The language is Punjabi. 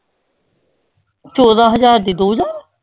ਚੌਦਾਂ ਹਜ਼ਾਰ ਦੀ ਦੋ ਹਜ਼ਾਰ।